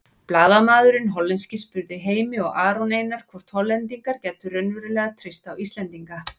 Blaðamaðurinn hollenski spurði Heimi og Aron Einar hvort Hollendingar gætu raunverulega treyst á Íslendinga.